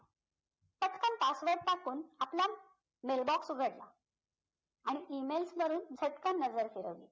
पटकन password टाकून आपला mailbox उघडला आणि emails वरून झटकन नझर फिरवली